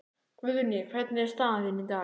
Guðný: Hvernig er staðan þín í dag?